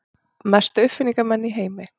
Mestu uppfinningamenn í heimi.